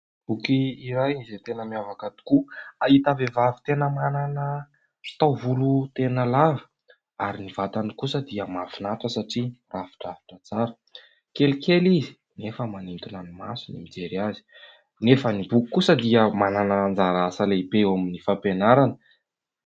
Boky iray izay tena miavaka tokoa ahitana vehivavy manana taovolo tena lava, ary ny vatany kosa dia mahafinaritra satria mirafidrafitra tsara. Kelikely izy nefa manintona ny maso ny mijery azy nefa ny boky kosa dia manana anjara asa lehibe eo amin'ny fampianarana.